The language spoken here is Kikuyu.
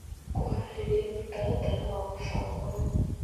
Kũhaarĩria mũtaratara wa mũbango